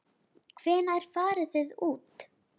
Hvenær farið þið út?